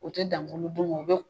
U tɛ dan bulu dun ma, u bɛ